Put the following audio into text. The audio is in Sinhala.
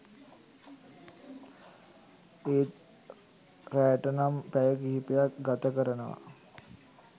ඒත් රැට නම් පැය කීපයක් ගතකරනවා.